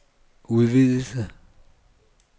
udvidelse